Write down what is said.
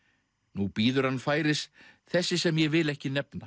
nú bíður hann færis þessi sem ég vil ekki nefna